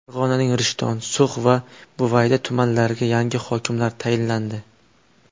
Farg‘onaning Rishton, So‘x va Buvayda tumanlariga yangi hokimlar tayinlandi.